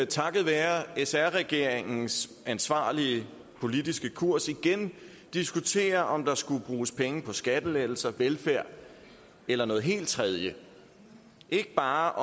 takket være sr regeringens ansvarlige politiske kurs igen diskutere om der skulle bruges penge på skattelettelser velfærd eller noget helt tredje og ikke bare